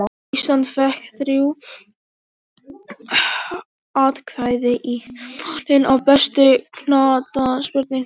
Ísland fékk þrjú atkvæði í valinu á besta knattspyrnumanni heims.